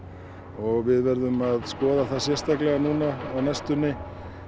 og við verðum að skoða það sérstaklega núna á næstunni